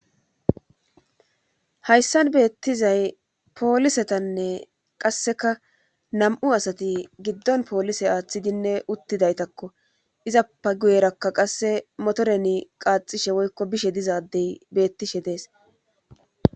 Hayssan beettizay poolisetanne qasseka nam7u asati giddon poolise aaththidinne uttidaytakko izappa guyerakka qasse motoreni qaaxishe woykko bishe dizadey beettishe dees